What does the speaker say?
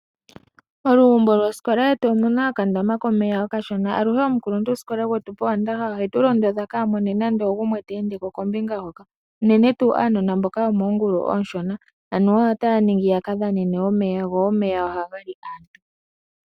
Olugumbo lwosikola yetu omuna okandama komeya okashona. Aluhe omukuluntusikola gwetu powandaha ohetu londodha kaamone nando ogumwe teendeko kombinga hoka, uunene tuu anona mboka yomoongulu oonshona anuwa otaya ningi yakadhanene omeya, go omeya ohaga li aantu.